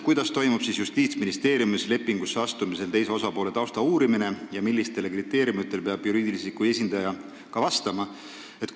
Kuidas toimub Justiitsministeeriumis enne lepingu sõlmimist teise osapoole tausta uurimine ja millistele kriteeriumidele peab juriidilise isiku esindaja vastama?